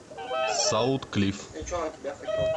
саутклифф